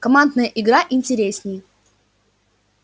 командная игра интереснее